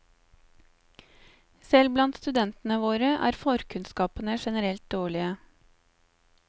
Selv blant studentene våre er forkunnskapene generelt dårlige.